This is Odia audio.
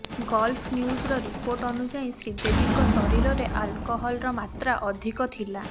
ଗଲ୍ଫ ନ୍ୟୁଜର ରିପୋର୍ଟ ଅନୁଯାୟୀ ଶ୍ରୀଦେବୀଙ୍କ ଶରୀରରେ ଆଲକହଲର ମାତ୍ରା ଅଧିକ ଥିଲା